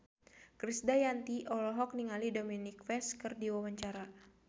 Krisdayanti olohok ningali Dominic West keur diwawancara